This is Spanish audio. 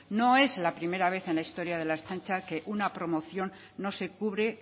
no es la primera vez en la historia de la ertzaintza que en una promoción no se cubre